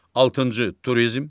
Altıncı turizm.